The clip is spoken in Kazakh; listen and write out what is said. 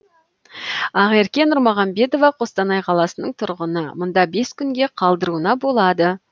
ақерке нұрмағамбетова қостанай қаласының тұрғыны мұнда бес күнге қалдыруына болады